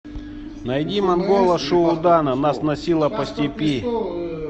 найди монгола шуудана нас носило по степи